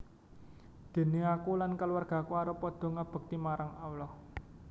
Déné aku lan kulawargaku arep padha ngabekti marang Allah